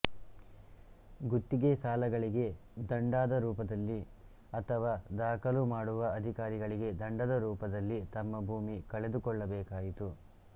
ಗುತ್ತಿಗೆ ಸಾಲಗಳಿಗೆ ದಂಡಾದ ರೂಪದಲ್ಲಿ ಅಥವಾ ದಾಖಲು ಮಾಡುವ ಅಧಿಕಾರಿಗಳಿಗೆ ದಂಡದ ರೂಪದಲ್ಲಿ ತಮ್ಮ ಭೂಮಿ ಕಳೆದುಕೊಳ್ಳಬೇಕಾಯಿತು